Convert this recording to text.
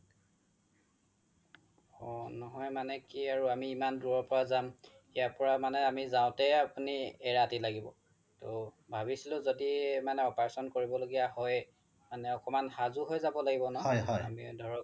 অ নহয় মানে কি আৰু আমি ইমান দুৰৰ পৰা যাম ইয়াৰ পৰা মানে আমি যাওতেই আপোনি এৰাতি লাগিব তৌ ভাবিছিলো মানে য্দি operation কৰিব লগিয়া হয় মানে একমান সাজু হৈ যাব লাগিব ন আমি ধৰক